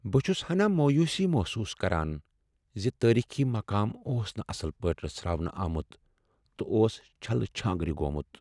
بہٕ چھس ہنا مویوسی محسوس کران ز تٲریخی مقام اوس نہٕ اصل پٲٹھۍ رژھراونہٕ آمُت تہٕ اوس چھلہٕ چھانگرِ گوٚمُت ۔